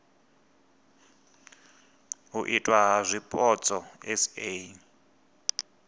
u itwa ha zwipotso sa